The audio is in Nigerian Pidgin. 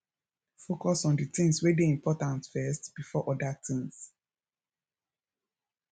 focus on di things wey dey important first before oda tins